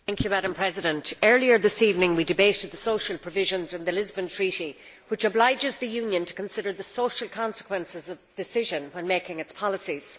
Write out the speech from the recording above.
Madam President, earlier this evening, we debated the social provisions and the Lisbon Treaty, which obliges the Union to consider the social consequences of a decision when making its policies.